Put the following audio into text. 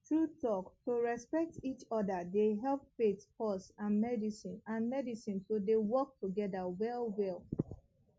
true talk to respect each other dey help faith pause and medicine and medicine to dey work together well well